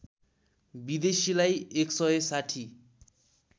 विदेशीलाई १ सय ६०